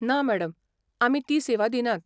ना मॅडम. आमी ती सेवा दिनात.